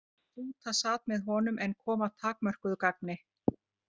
Túta sat með honum en kom að takmörkuðu gagni.